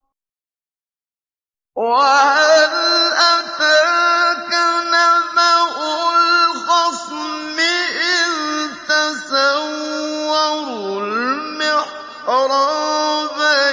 ۞ وَهَلْ أَتَاكَ نَبَأُ الْخَصْمِ إِذْ تَسَوَّرُوا الْمِحْرَابَ